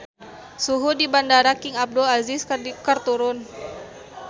Suhu di Bandara King Abdul Aziz keur turun